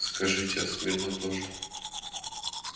скажите а смирно тоже